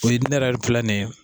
O ye ne yɛrɛ filɛ nin ye